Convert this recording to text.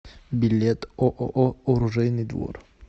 билет ооо оружейный двор